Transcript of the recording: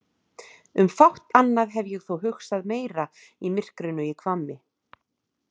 Um fátt annað hef ég þó hugsað meira í myrkrinu í Hvammi.